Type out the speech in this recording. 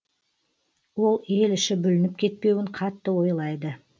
ол ел іші бүлініп кетпеуін қатты ойлайды